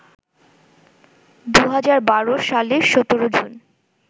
২০১২ সালের ১৭ জুন